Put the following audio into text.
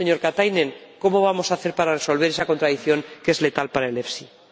Señor Katainen, ¿cómo vamos a hacer para resolver esa contradicción que es letal para el FEIE?